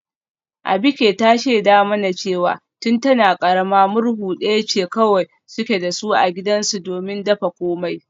Abike ta shaida mana cewa tun tana karama murhu daya ce kawai suke da su a gidansu domin dafa komai